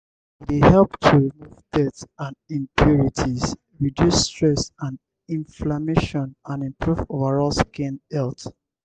e dey help to remove dirt and impurities reduce stress and imflammation and improve overall skin health.